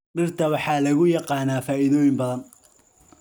Dhirta waxaa lagu yaqaan faa'iidooyin badan.